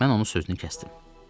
Mən onun sözünü kəsdim.